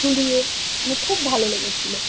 ঝুলিয়ে মানে খুব ভালো লেগেছিল